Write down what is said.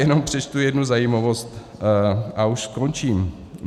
Jenom přečtu jednu zajímavost a už skončím.